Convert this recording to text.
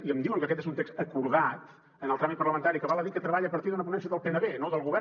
i em diuen que aquest és un text acordat en el tràmit parlamentari que val a dir que treballa a partir d’una ponència del pnb no del govern